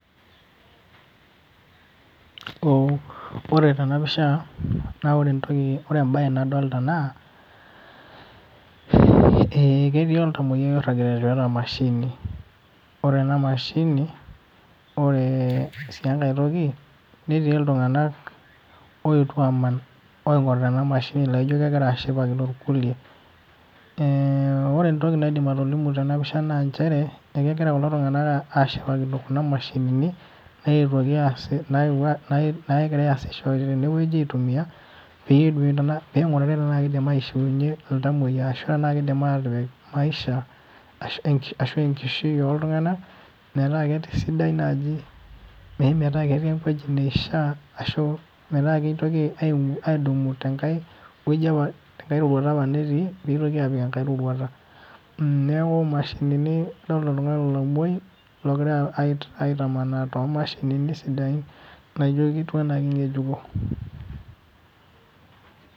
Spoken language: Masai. Ore tenapisha, na ore entoki ore ebae nadolta naa, ketii oltamoyiai oirragita tiatua emashini. Ore ena mashini, ore si enkae toki, netii iltung'anak oetuo aman oing'orita enamashini laijo kegira ashipakino irkulie. Ore entoki naidim atolimu tenapisha na njere, ekegira kulo tung'anak ashipakino kuna mashinini, netuoki aas nagirai asisho tenewueji aitumia, peyie ping'urari tenaa kidim aishiunye iltamoyia ashu tenaa kidim ataret maisha, ashu enkishui oltung'anak, metaa kesidai naji, metaa ketii ewueji neishaa ashu, metaa kitoki adumu tenkae woji apa tenkae roruata apa netii, pitoki apik enkae roruata. Neeku mashinini adolta oltung'ani lomoi, logirai aitamanaa tomashinini sidain naijo ketiu enaa keng'ejuko.